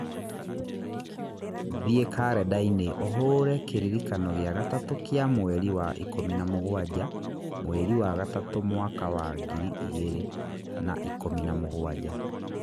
Thiĩ karendainĩ ũhũre kĩririkano gĩa gatatũ kĩa mweri wa ikũmi na mũgwanja mweri wa gatatũ mwaka wa ngiri igĩrĩ na ikũmi na mũgwanja